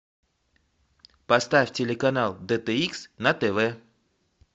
поставь телеканал дэ тэ икс на тв